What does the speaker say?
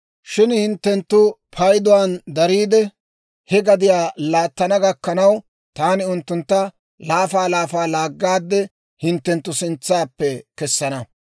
Shin hinttenttu payduwaan dariide, he gadiyaa laattana gakkanaw, taani unttuntta laafa laafa laaggaade hinttenttu sintsaappe kessana.